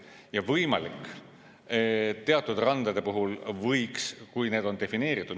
Ja võimalik, et teatud randade puhul võiks, kui need on defineeritud ...